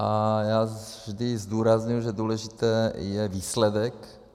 A já vždy zdůrazňuji, že důležitý je výsledek.